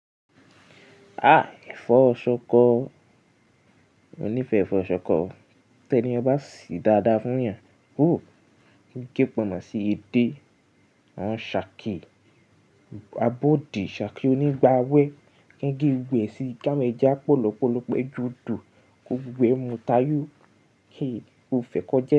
Ah! Ẹ̀fọ́ ṣọkọ, mo nífẹ̀ẹ́ ẹ̀fọ́ ṣọkọ. Tẹni yẹn ba sì dáadáa fún yàn. Ooo, kí n ko ponmo sí edé, a ṣàkí abọ́dì, ṣàkí onígba wẹ, kí n gé gbogbo eẹ́ sí ká awon ẹ́jà, pọ̀lọ́pọ̀lọ́pọ̀ ẹjò odo, ko gbogbo eẹ́ mu tayò. Kii, mo fẹ́ kọ je.